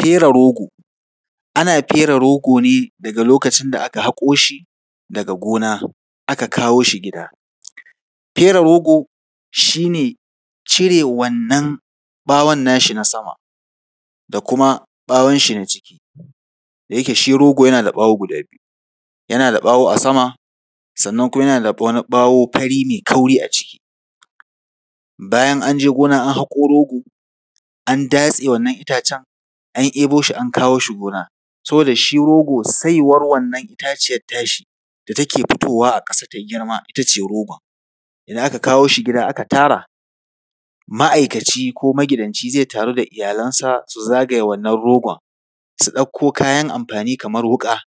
Fere rogo. Ana fere rogo ne daga lokacin da aka haƙo shi daga gona, aka kawo shi gida. Fere rogo shi ne cire wannan ɓawon nashi na sama da kuma ɓawonshi na ciki, da yake shi rogo yana da ɓawo guda biyu, yana da ɓawo a sama, sannan kuma yana da wani ɓawo fari mai kauri a ciki. Bayan an je gona an haƙo rogo, an datse wannan intacen an ɗebo shi an kawo shi gona, saboda shi rogo, saiwar wannan itaciyar tashi da take fitowa a ƙasa ta yi girma, ita ce rogon. Idan aka kawo shi gida aka tara, ma’aikaci ko magidanci zai taru da iyalansa, su zagaye wannan rogon, su ɗauko kayan amfani kamar wuƙa,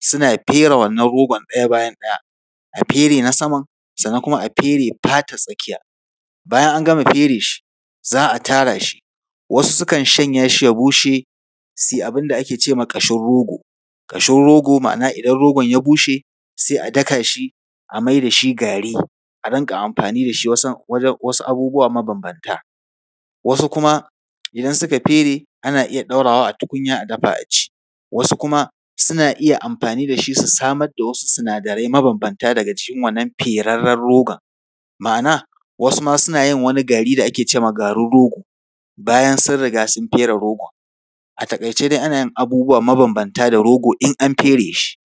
suna fere wannan rogon ɗaya bayan ɗaya, a fere na saman, sannan kuma a fere fatar tsakiya. Bayan an gama fere shi, za a tara shi, wasu sukan shanya shi ya bushe, su yi abin da ake ce ma ƙashin rogo. Ƙashin ma’ana idan rogon ya bushe, sai a daka shi a mai da shi gari, a rinƙa amfani da shi wasu abubuwa mabambanta. Wasu kuma idan suka fere, ana iya ɗaurawa a tukunya a dafa, a ci. Wasu kuma suna iya amfani da shi, su samar da wasu sinadarai mabambanta daga cikin wannan ferarren rogon, ma’ana, wasu ma suna yin wani gari da ake ce ma garin rogo, bayan sun riga sun fere rogon. A taƙaice dai ana yin abubuwa mabambanta da rogo, in an fere shi.